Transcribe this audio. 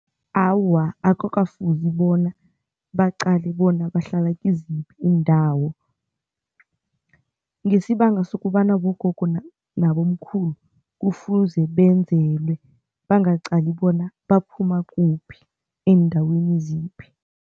Awa, akukafuzi bona baqale bona bahlala kiziphi iindawo ngesibanga sokobana bogogo nabomkhulu, kufuze benzelwe bangaqali bona baphuma kuphi, eendaweni ziphi.